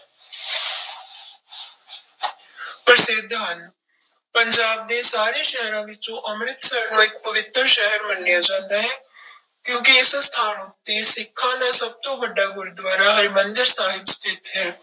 ਪ੍ਰਸਿੱਧ ਹਨ, ਪੰਜਾਬ ਦੇ ਸਾਰੇ ਸ਼ਹਿਰਾਂ ਵਿੱਚੋਂ ਅੰਮ੍ਰਿਤਸਰ ਨੂੰ ਇੱਕ ਪਵਿੱਤਰ ਸ਼ਹਿਰ ਮੰਨਿਆ ਜਾਂਦਾ ਹੈ ਕਿਉਂਕਿ ਇਸ ਸਥਾਨ ਉੱਤੇੇ ਸਿੱਖਾਂ ਦਾ ਸਭ ਤੋਂ ਵੱਡਾ ਗੁਰਦੁਆਰਾ ਹਰਿਮੰਦਰ ਸਾਹਿਬ ਸਥਿੱਤ ਹੈ।